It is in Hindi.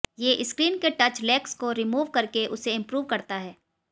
ये स्क्रीन के टच लेग्स को रिमूव करके उसे इम्प्रूव करता है